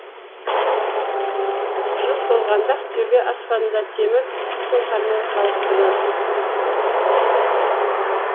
жыл толғанда ақтөбе аспанында темір сұңқармен қалықтырадық